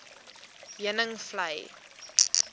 heuningvlei